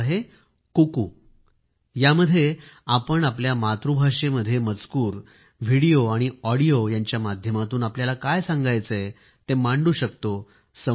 त्याचे नाव आहे कूकू यामध्ये आपण आपल्या मातृभाषेमध्ये मजकूर व्हिडिओ आणि ऑडिओ यांच्या माध्यमातून आपल्याला काय सांगायचे आहे ते मांडू शकतो